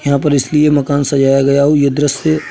यहाँ पर इसलिए मकान सजाया गया हो यह दृश्य --